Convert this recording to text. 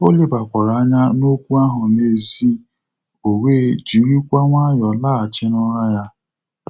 Ọ lebakwara anya n'okwu ahụ n'èzí, ọ wee jiri kwa nwayọ laghachi n'ụra ya.